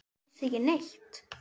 Alls ekki neitt.